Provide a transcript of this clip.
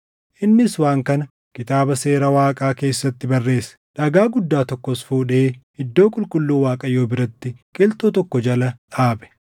Innis waan kana Kitaaba Seera Waaqaa keessatti barreesse. Dhagaa guddaa tokkos fuudhee iddoo qulqulluu Waaqayyoo biratti qilxuu tokko jala dhaabe.